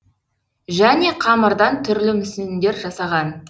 және қамырдан түрлі мүсіндер жасаған